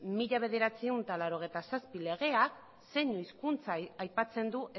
mila bederatziehun eta laurogeita zazpi legeak zein hizkuntza aipatzen du